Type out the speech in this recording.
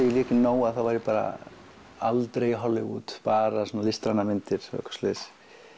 ég lék í Nóa var ég bara aldrei Hollywood bara svona listrænar myndir og eitthvað svoleiðis